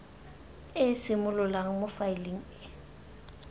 e simololang mo faeleng e